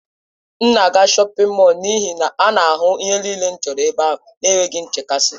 M na-aga shọpin mọll n'ihi na a na-ahụ ihe niile m chọrọ n'ebe ahụ n'enweghị nchekasị.